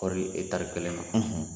Kɔɔri tari kelen ma